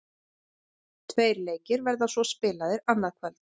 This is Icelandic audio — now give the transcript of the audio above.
Tveir leikir verða svo spilaðir annað kvöld.